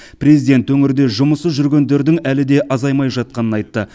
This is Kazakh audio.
президент өңірде жұмыссыз жүргендердің әлі де азаймай жатқанын айтты